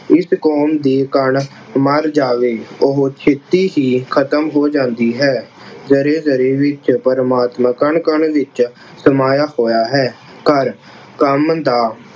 ਜਿਸ ਕੌਮ ਦੀ ਕਣ ਮਰ ਜਾਵੇ ਉਹ ਛੇਤੀ ਹੀ ਖਤਮ ਹੋ ਜਾਂਦੀ ਹੈ। ਜ਼ਰੇ ਜ਼ਰੇ ਵਿੱਚ ਪ੍ਰਮਾਤਮਾ ਕਣ ਕਣ ਵਿੱਚ ਸਮਾਇਆ ਹੋਇਆ ਹੈ। ਕਰ ਕੰਮ ਦਾ